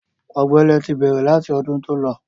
Ọ̀gbẹlẹ̀ ti bẹ̀rẹ̀ láti ọdún tó lọ.